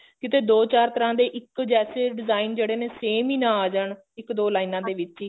ਕਿਤੇ ਦੋ ਚਾਰ ਤਰ੍ਹਾਂ ਦੇ ਇੱਕ ਜੈਸੇ design ਜਿਹੜੇ ਨੇ same ਈ ਨਾ ਆ ਜਾਨ ਇੱਕ ਦੋ ਲਾਈਨਾ ਦੇ ਵਿੱਚ ਹੀ